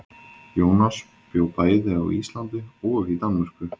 Jónas bjó bæði á Íslandi og í Danmörku.